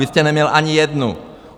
Vy jste neměl ani jednu.